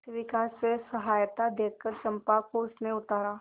शिविका से सहायता देकर चंपा को उसने उतारा